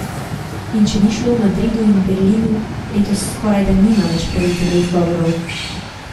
In če ni šlo v Madridu in Berlinu, letos skorajda nima več pravice do izgovorov.